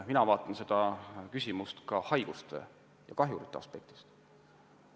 Mina vaatan seda küsimust ka haiguste ja kahjurite aspektist.